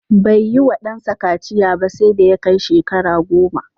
Bai yiwa ɗansa kaciya ba sai da ya kai shekara goma.